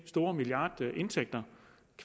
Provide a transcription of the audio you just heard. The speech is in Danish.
store milliardindtægter